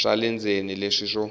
swa le ndzeni leswi swo